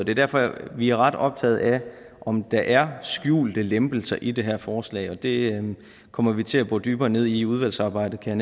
er derfor vi er ret optaget af om der er skjulte lempelser i det her forslag det kommer vi til at gå dybere ned i i udvalgsarbejdet kan